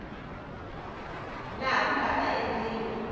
laha ku nga ta endliwa